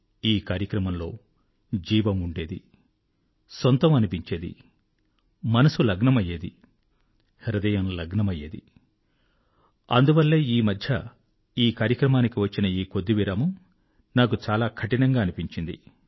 ఈ కార్యక్రమంలో జీవం ఉండేది సొంతం అనిపించేది మనసు లగ్నమయ్యేది హృదయం లగ్నమయ్యేది అందువల్లే ఈ మధ్య ఈ కార్యక్రమానికి వచ్చిన ఈ కొద్ది విరామం నాకు చాలా కఠినంగా అనిపించింది